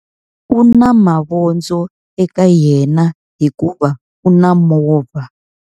U na mavondzo eka yena hikuva u na movha.